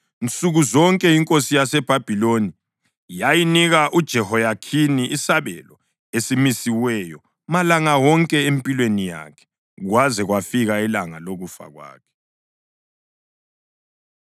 Nsuku zonke inkosi yaseBhabhiloni yayinika uJehoyakhini isabelo esimisiweyo malanga wonke empilweni yakhe, kwaze kwafika ilanga lokufa kwakhe.